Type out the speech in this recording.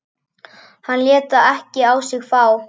Hann lét það ekki á sig fá.